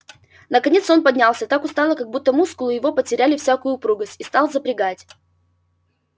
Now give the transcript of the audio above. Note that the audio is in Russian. наконец он поднялся так устало как будто мускулы его потеряли всякую упругость и стал запрягать